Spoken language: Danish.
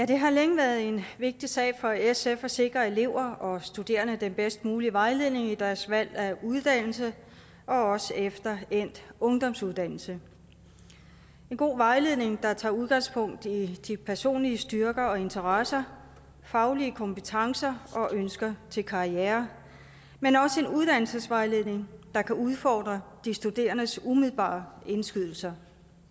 det har længe været en vigtig sag for sf at sikre elever og studerende den bedst mulige vejledning i deres valg af uddannelse og også efter endt ungdomsuddannelse en god vejledning der tager udgangspunkt i de personlige styrker og interesser faglige kompetencer og ønsker til karriere men også en uddannelsesvejledning der kan udfordre de studerendes umiddelbare indskydelser